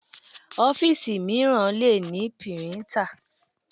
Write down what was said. Ọ́fíìsì mìíràn le ní píríńtà.